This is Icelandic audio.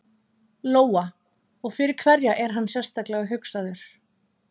Lóa: Og fyrir hverja er hann sérstaklega hugsaður?